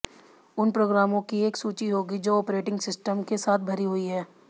उन प्रोग्रामों की एक सूची होगी जो ऑपरेटिंग सिस्टम के साथ भरी हुई हैं